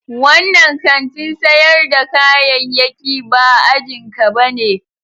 Wannan kantin sayar da kayayyaki ba ajin ka bane.